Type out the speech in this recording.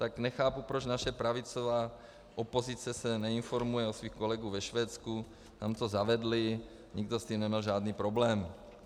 Tak nechápu, proč naše pravicová opozice se neinformuje u svých kolegů ve Švédsku, tam to zavedli, nikdo s tím nemá žádný problém.